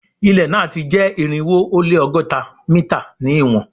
Ilẹ na jẹ irinwo o le ọgọta mita ni iwọn